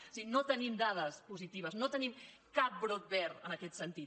o sigui no tenim dades positives no tenim cap brot verd en aquest sentit